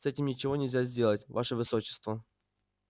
с этим ничего нельзя сделать ваше высочество